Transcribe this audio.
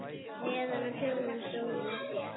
Neðan á kjólnum sómir sér.